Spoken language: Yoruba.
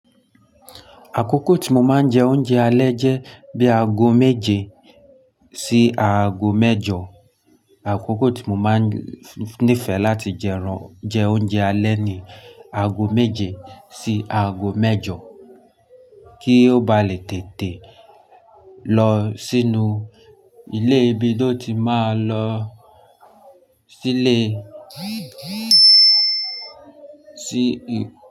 Àkókò tí mo máa ń jẹ oúnjẹ alẹ́ jẹ́ bí aago méje sí aago mẹ́jọ. Àkókò tí mo máa ń nífẹ̀ẹ́ láti jẹ oúnjẹ alẹ́ ni aago méje sì aago mẹ́jọ kí ó ba lè tètè lọ sínú ilé bí ó ti máa lọ sí ilé sí.